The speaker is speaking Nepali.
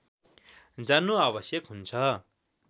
जान्नु आवश्यक हुन्छ